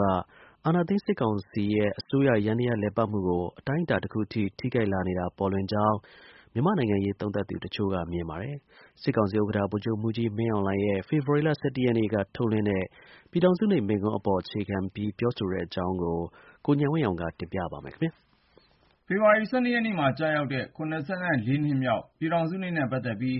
က အာဏာသိမ်း စစ်ကောင်စီရဲ့ အစိုးရယန္တရားလည်ပတ်မှုကို အတိုင်းအတာ တခုထိ ထိခိုက်လာနေတာ ပေါ်လွင်ကြောင်း မြန်မာနိုင်ငံရေး သုံးသပ်သူတချို့က မြင်ပါတယ်။ စစ်ကောင်စီ ဥက္ကဌ ဗိုလ်ချုပ်မှူးကြီး မင်းအောင်လှိုင်ရဲ့ ဖေဖေါ်ဝါရီ(၁၁)ရက်နေ့က ထုတ်လွှင့်တဲ့ ပြည်ထောင်စုနေ့မိန့်ခွန်းပေါ် အခြေခံပြီး ပြောဆိုလိုက်ကြတဲ့ အကြောင်း ကိုဉာဏ်ဝင်းအောင်က တင်ပြထားပါတယ်။ ဖေဖော်ဝါရီလ ၁၂ ရက်နေ့မှာ ကျရောက်မယ့် (၇၄)နှစ်မြောက် ပြည်ထောင်စုနေ့နဲ့ ပတ်သက်ပြီး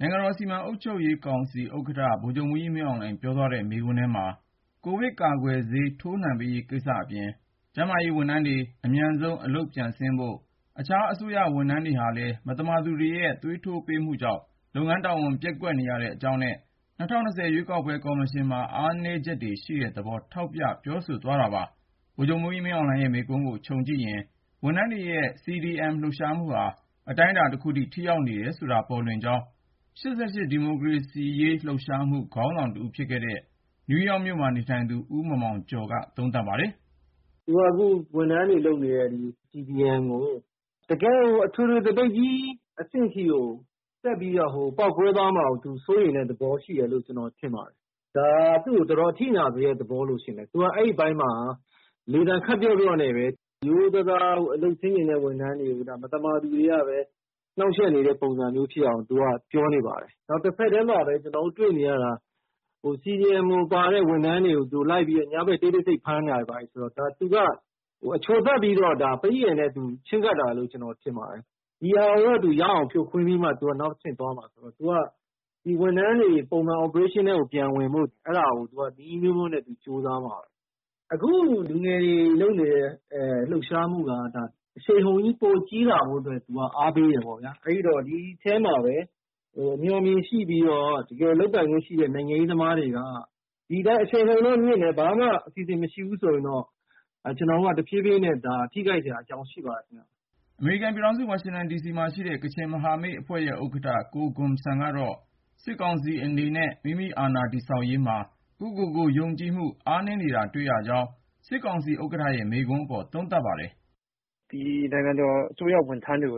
နိုင်ငံတော်စီမံအုပ်ချုပ်ရေးကောင်စီ ဥက္ကဋ္ဌ ဗိုလ်ချုပ်မှူးကြီး မင်းအောင်လှိုင် ပြောသ ွားတဲ့ မိန့်ခွန်းထဲမှာ - ကိုဗစ်ကာကွယ်ဆေး ထိုးနှံပေးရေး ကိစ္စတွေအပြင် ၊ ကျန်းမာရေးဝန်ထမ်းတွေ အမြန်ဆုံး အလုပ်ပြန်ဆင်းဖို့ ၊ အခြား အစိုးရဝန်ထမ်းတွေဟာလည်း မသမာသူတွေရဲ့ သွေးထိုးပေးမှုကြောင့် လုပ်ငန်းတာဝန် ပျက်ကွက်နေရတဲ့ အကြောင်းနဲ့ ၂၀၂၀ ရွေးကောက်ပွဲ ကော်မရှင်မှာ အားနည်းချက် ရှိတဲ့သဘောတွေ ထောက်ပြပြောဆိုသွားပါတယ်။ ဗိုလ်ချုပ်မှူးကြီး မင်းအောင်လှိုင်ရဲ့ မိန့်ခွန်းကိုခြုံကြည့်ရင် ဝန်ထမ်းတွေရဲ့ CDM လှုပ်ရှားမှုဟာ အတိုင်းအတာ တခုထိ ထိရောက်နေတယ်ဆိုတာ ပေါ်လွင်ကြောင်း ၈၈ ဒီမိုကရေစီရေးလှုပ်ရှားမှု ခေါင်းဆောင်တဦးဖြစ်ခဲ့တဲ့ နယူးယောက်မြို့မှာနေသူ ဦးမောင်မောင်ကျော်က သုံးသပ်ပါတယ်။ “အခု ဝန်ထမ်းတွေ လုပ်နေတဲ့ CDM ကို ၊ တကယ့်ကို အထွေထွေ သပိတ်ကြီးအဆင့်ထိ ဆက်ပြီး ပေါက်ကွဲသွားမှာကို သူစိုးရိမ်တဲ့သဘော ရှိတယ်လို့ ကျနော်ထင်ပါတယ်။ ဒါက သူတို့ကို တော်တော် အထိနာစေတဲ့သဘောရှိတယ်။ အဲဒီအပိုင်းမှာ သူက လေသံ ခပ်ပျော့ပျော့နဲ့ပဲ ရိုးရိုးသားသား အလုပ်ဆင်းချင်တဲ့ ဝန်ထမ်းတွေကို မသမာသူတွေကပဲ နှောက်ယှက်နေတဲ့ပုံစံမျိုးဖြစ်အောင် သူက ပြောနေပါတယ်။ နောက်တဆက်ထဲမှာပဲ ကျနော်တို့ တွေ့နေရတာက - CDM မှာပါတဲ့ ဝန်ထမ်းတွေကို တိတ်တဆိတ်လိုက်ဖမ်းနေတယ်ဆိုတော.. ဒါ သူက အချိုသပ်ပြီး ပရိယာယ်နဲ့ ချည်းကပ်နေတယ်လို့ ကျနော်ထင်ပါတယ်။ ဒီဟာကို ရအောင်ဖြိုခွင်းပြီး သူက နောက်တဆင့် သွားမှာဆိုတော့ ဒီဝန်ထမ်းတွေ လုပ်ငန်းခွင် ပြန်ဝင်ရေးကို နည်းအမျိုးမျိုးနဲ့ သူကြိုးစားမှာပဲ။ အခု လူငယ်တွေ လုပ်နေတဲ့ လှုပ်ရှားမှုက အရှိန်အဟုန်ကြီး ပိုကြီးလာဖို့ကို အားပေးတယ်ပေါ့ ။ အဲဒီတော့ ဒီထဲမှာပဲ အမျှော်အမြင်ရှိပြီး လုပ်ပိုင်ခွင့်ရှိတဲ့ နိုင်ငံရေးသမားတွေက.. ဒီတိုင်းပဲ အရှိန်အဟုန်တော့ မြင့်တယ် ၊ ဘာမှ အစီအစဉ် မရှိဘူးဆိုရင်တော့ ကျနော်တို့က တဖြည်းဖြည်းနဲ့ ထိခိုက်လာနိုင်စရာ အကြောင်းရှိပါတယ်။” အမေရိကန်ပြည်ထောင်စု ဝါရှင်တန်ဒီစီမှာရှိတဲ့ ကချင်မဟာမိတ်အဖွဲ့ရဲ့ ဥက္ကဌ ကိုဂွမ်ဆမ်ကတော့ စစ်ကောင်စီအနေနဲ့ မိမိအာဏာ တည်ဆောက်ရေးမှာ ကိုယ့်ကိုယ်ကို ယုံကြည်မှုအားနည်းနေတာ တွေ့ရပြီး စစ်ကောင်စီဥက္ကဌရဲ့ မိန့်ခွန်းအပေါ် သုံးသပ်ပါတယ်။ “ ဒီနိုင်ငံအစိုးရဝန်ထမ်းတွေ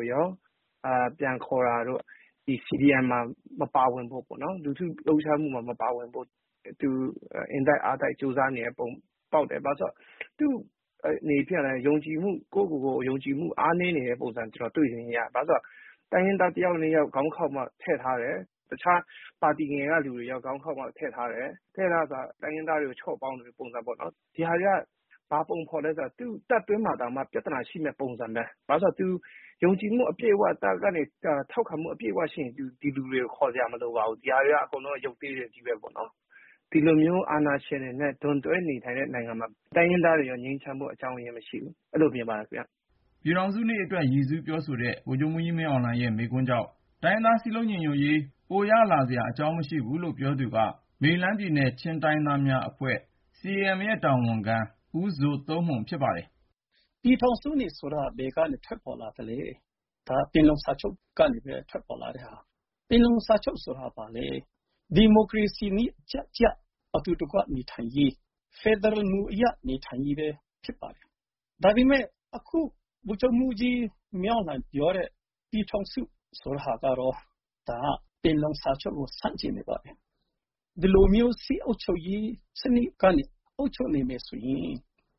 ပြန်ခေါ်တာတို့.. ဒီ CDM မှာ မပါဝင်ဖို့ လူထုလှုပ်ရှားမှုမှာ မပါဝင်ဖို့ သူ အင်တိုက်အားတိုက် ကြိုးစားနေပုံ ပေါက်တယ်။ ဘာဖြစ်လို့လဲဆိုတော့ သူ့အနေနဲ့လည်း ကိုယ့်ကိုယ်ကို ယုံကြည်မှု အားနည်းနေတဲ့ ပုံစံမျိုး ကျနော်တို့ တွေ့ရတယ် ။ ဘာလို့လဲဆိုတော့... တိုင်းရင်းသားတယောက် နှစ်ယောက်ကို ခေါင်းခေါက်ပြီးတော့ ထည့်ထားတယ်။ တခြားပါတီတွေကလူတွေရော ခေါင်းခေါက်ပြီးတော့ ထည့်ထားတယ်။ ထည့်ထားတယ်ဆိုတာ တိုင်းရင်းသားတွေကို ချော့ပေါင်းတဲ့ ပုံစံပေါ့။ ဒါတွေက ဘာပုံဖော်နေသလဲဆိုတော့ သူ့တပ်တွင်းမှာတောင်မှ ပြဿနာရှိမယ့်ပုံစံပဲ။ ဘာဖြစ်လို့လဲဆိုတော့ သူယုံကြည်မှု အပြည့်အ၀ စစ်တပ်ကနေ ထောက်ခံမှုရှိရင် သူ ဒီလူတွေကို ခေါ်စရာမလိုဘူး ။ ဒါတွေအကုန်လုံးက ရုပ်သေးတွေပဲပေါ့နော်။ ဒီလို အာဏာရှင်တွေနဲ့ ဒွန်တွဲနေထိုင်တဲ့နိုင်ငံမှာ တိုင်းရင်းသားတွေလည်း ငြိမ်းချမ်းဖို့ အကြောင်းအရင်းမရှိဘူး။ အဲဒီလို မြင်ပါတယ်ခင်ဗျ။” ပြည်ထောင်စုနေ့အတွက် ရည်စူး ပြောဆိုတဲ့ ဗိုလ်ချုပ်မှူးကြီး မင်းအောင်လှိုင်ရဲ့ မိန့်ခွန်းကြောင့် တိုင်းရင်းသား စည်းလုံးညီညွတ်ရေး ပိုရစေမှာ မဟုတ်ဘူးလို့ ပြောသူက မေရီလန်းပြည်နယ် ချင်းတိုင်းသားများအဖွဲ့ CAM ရဲ့ တာဝန်ခံ ဦးဇိုသုန်းမှုန် ဖြစ်ပါတယ်။ “ပြည်ထောင်စုနေ့ဆိုတာ ဘယ်ကနေ ထွက်ပေါ်လာသလဲပေါ့။ ဒါ ပင်လုံစာချုပ်ကနေ ထွက်ပေါ်လာတဲ့ဟာပါ။ ပင်လုံစာချုပ်ဆိုတာ ဘာလဲ.. ဒီမိုကရေစီနည်းကျကျ အတူတကွနေထိုင်ရေး ၊ ဖယ်ဒရယ်မူအရ နေထိုင်ရေးပဲ ဖြစ်ပါတယ်။ ဒါပေမယ့် အခု ဗိုလ်ချုပ်မှူးကြီး မင်းအောင်လှိုင် ပြောတဲ့ ပြည်ထောင်စု ဆိုတဲ့ဟာကတော့ ဒါက ပင်လုံစာချုပ်ကို ဆန့်ကျင်ပြီးတော့ ဒီလိုမျိုး စစ်အုပ်ချုပ်ရေးစနစ်ကနေ အုပ်ချုပ်နေမယ်ဆိုရင်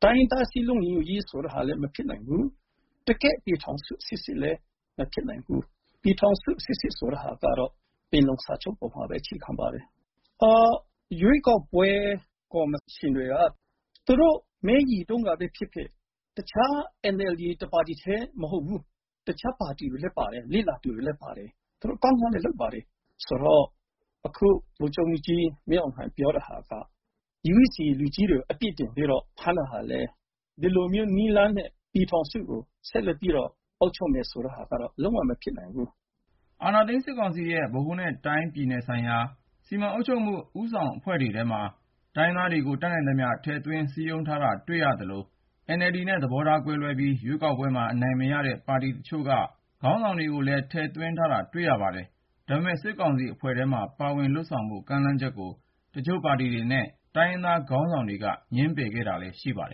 တိုင်းရင်းသား စည်းလုံးညီညွတ်ရေးဆိုတာလည်း မဖြစ်နိုင်ဘူး။ တကယ့်ပြည်ထောင်စု စစ်စစ်လည်း မဖြစ်နိုင်ဘူး။ ပြည်ထောင်စု စစ်စစ်ဆိုတာကတော့ ပင်လုံစာချုပ်အပေါ်မှာပဲ အခြေခံပါတယ်။ ရွေးကောက်ပွဲ ကော်မရှင်တွေက သူတို့ မဲရေတုန်းက တခြား NLDပါတီပဲ မဟုတ်ဘူး။ တခြားပါတီတွေလည်း ပါတယ် မဲရေတုန်းက၊ လေ့လာသူတွေလည်း ပါတယ်။ သူတို့ ကောင်းကောင်းလုပ်ပါတယ် ဆိုတော့ အခု ဗိုလ်ချုပ်မှူးကြီး မင်းအောင်လှိုင် ပြောတာကတော့ UEC လူကြီးတွေကို အပြစ်တင်ပြီးတော့ ဖမ်းတာကလည်း ဒီလိုနည်းလမ်းနဲ့ ပြည်ထောင်စုကို ဆက်လက်ပြီးတော့အုပ်ချုပ်မယ်ဆိုတာကတော့ လုံး၀ မဖြစ်နိုင်ဘူး။” အာဏာသိမ်း စစ်ကောင်စီရဲ့ ဗဟိုနဲ့ တိုင်းနဲ့ပြည်နယ်ဆိုင်ရာ စီမံအုပ်ချုပ်မှု ဦးဆောင်အဖွဲ့တွေထဲမှာတော့ တိုင်းရင်းသားတွေကို တတ်နိုင်သမျှ စည်းရုံး ထည့်သွင်းထားတာ တွေ့ရသလို ၊ NLD နဲ့ သဘောထားကွဲလွဲပြီး ရွေးကောက်ပွဲမှာ အနိုင်မရတဲ့ ပါတီတချို့က ခေါင်းဆောင်တွေကိုလည်း ထည့်သွင်းထားတာ တွေ့ရပါတယ်။ ဒါပေမဲ့ စစ်ကောင်စီအဖွဲ့ထဲမှာ ပါဝင်လုပ်ဆောင်ဖို့ ကမ်းလှမ်းချက်ကို တချို့ပါတီတွေနဲ့ တိုင်းရင်းသား ခေါင်းဆောင်တွေက ငြင်းပယ်ခဲ့တာလည်း ရှိပါတယ်